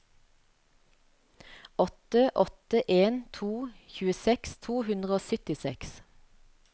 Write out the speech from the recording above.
åtte åtte en to tjueseks to hundre og syttiseks